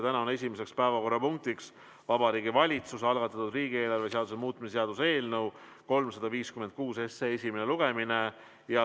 Täna on esimene päevakorrapunkt Vabariigi Valitsuse algatatud riigieelarve seaduse muutmise seaduse eelnõu 356 esimene lugemine.